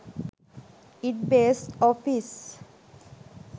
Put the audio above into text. it based office